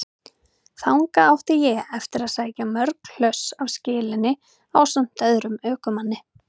Þangað átti ég eftir að sækja mörg hlöss af skelinni ásamt öðrum ökumanni.